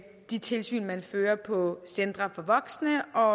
de tilsyn man fører på centre for voksne og